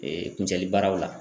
kuncɛli baaraw la